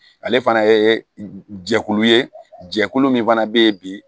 Ale fana ye jɛkulu ye jɛkulu min fana bɛ yen bi